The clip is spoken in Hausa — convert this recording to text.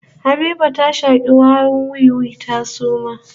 Habiba ta shaki warin wiwi ta suma